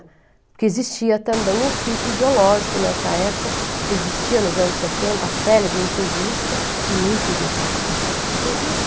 Porque existia também um filtro ideológico nessa época, existia nos anos setenta a célebre entrevista, eu nunca iria pa passar nessa entrevista,